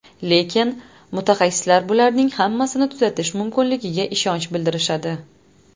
Lekin, mutaxassislar bularning hammasini tuzatish mumkinligiga ishonch bildirishadi.